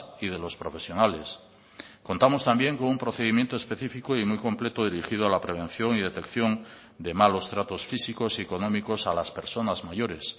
y de los profesionales contamos también con un procedimiento específico y muy completo dirigido a la prevención y detección de malos tratos físicos y económicos a las personas mayores